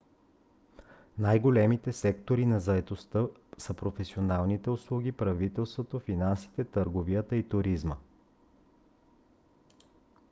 най - големите сектори на заетостта са професионалните услуги правителството финансите търговията и туризма